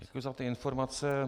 Děkuji za ty informace.